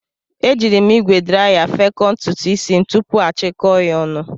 E jiiri m ígwè draya fekọọ ntutu isi tupu m achikọọ ya ọnụ.